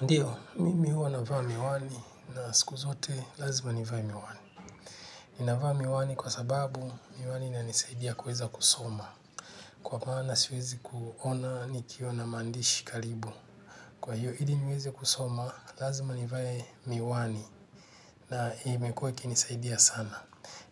Ndiyo, mimi hua navaa miwani na siku zote lazima ni vae miwani. Ni navaa miwani kwa sababu miwani inanisaidia kuweza kusoma. Kwa maana siwezi kuona nikiona mandishi kalibu. Kwa hiyo hili niweze kusoma lazima ni vae miwani na imekuwa ikinisaidia sana.